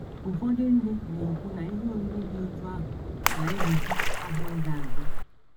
Ụfọdụ ndị na - ekwu na ihe oriri dị otú ahụ na - egbochi ahụ ịza aza.